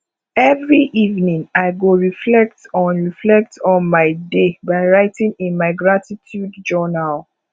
every evening i go reflect on reflect on my day by writing in my gratitude journal